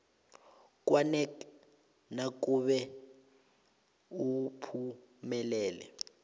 kwanac nakube uphumelele